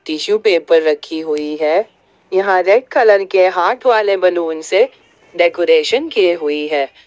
Tissue paper रखी हुई है यहां रेड कलर के हाथ वाले बनूं से डेकोरेशन की हुई है।